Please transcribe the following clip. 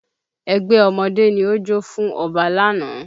Ẹgbẹ́ ọmọdé ni ó jó fún Ọba lánàá